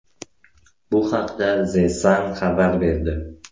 Bu haqda The Sun xabar berdi .